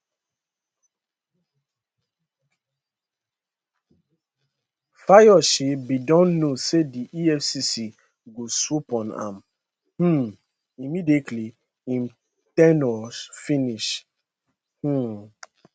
fayose bin don know say di efcc go swoop on am um immediately im ten ure finish um